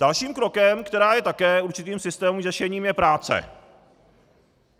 Dalším krokem, který je také určitým systémovým řešením, je práce.